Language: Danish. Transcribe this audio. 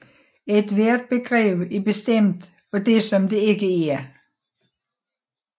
Ethvert begreb er bestemt af det som det ikke er